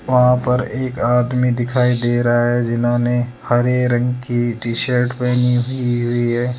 वहां पर एक आदमी दिखाई दे रहा है जिन्होंने हरे रंग की टी शर्ट पहनी हुई है।